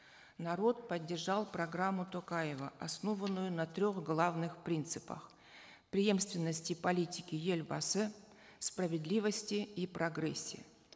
народ поддержал программу токаева основанную на трех главных принципах преемственности политики елбасы справедливости и прогрессе